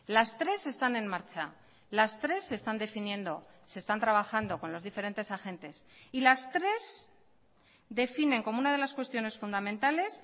las tres están en marcha las tres se están definiendo se están trabajando con los diferentes agentes y las tres definen como una de las cuestiones fundamentales